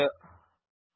publisher